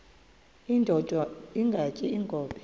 indod ingaty iinkobe